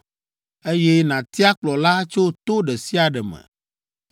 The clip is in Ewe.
eye nàtia kplɔla tso to ɖe sia ɖe me.